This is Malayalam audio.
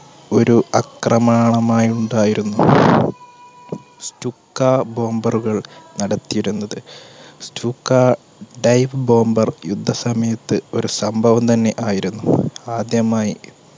ഒരു അക്രമാണമായി ഉണ്ടായിരുന്നു stuka bomber കൾ നടത്തിയിരുന്നത് stuka dive bomber യുദ്ധസമയത്ത് ഒരു സംഭവം തന്നെ ആയിരുന്നു. ആദ്യമായി